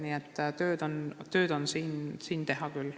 Nii et tööd on siin teha küll.